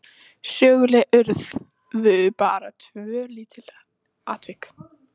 Söguleg urðu bara tvö lítil atvik.